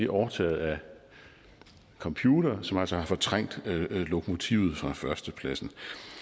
overtaget af computere som altså har fortrængt lokomotivet fra førstepladsen